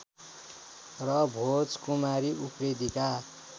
र भोजकुमारि उप्रेतिका